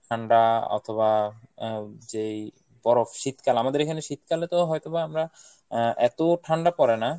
ঠান্ডা অথবা আহ যেই বরফ শীতকাল আমাদের এইখানে শীতকালেতো হয়তোবা আমরা আহ এতো ঠান্ডা পরে না।